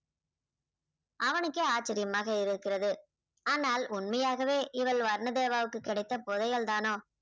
அவனுக்கே ஆச்சரியமாக இருக்கிறது ஆனால் உண்மையாகவே இவள் வர்ண தேவாவுக்கு கிடைத்த புதையல் தானோ